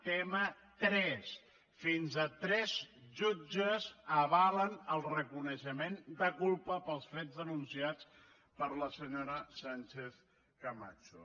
tema tres fins a tres jutges avalen el reconeixement de culpa pels fets denunciats per la senyora sánchez camacho